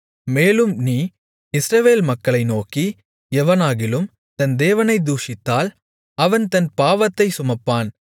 மேலும் நீ இஸ்ரவேல் மக்களை நோக்கி எவனாகிலும் தன் தேவனைத் தூஷித்தால் அவன் தன் பாவத்தைச் சுமப்பான்